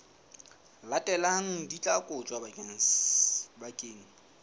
latelang di tla kotjwa bakeng